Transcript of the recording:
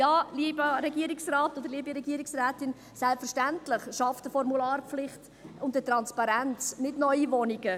Ja, liebe Regierungsrätin, selbstverständlich schaffen Formularpflicht und Transparenz nicht neue Wohnungen.